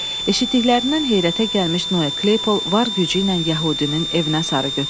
Eşitdiklərindən heyrətə gəlmiş Noa Kleypıl var gücü ilə yəhudinin evinə sarı götürüldü.